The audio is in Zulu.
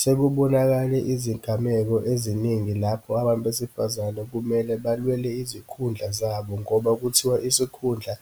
Sekubonakale izingameko eziningi lapho abantu besifazane kumele balwele izikhundla zabo ngoba kuthiwa isikhundla